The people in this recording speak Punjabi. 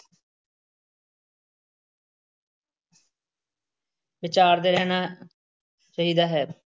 ਵਿਚਾਰਦੇ ਰਹਿਣਾ ਚਾਹੀਦਾ ਹੈ।